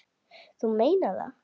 Þú meinar það.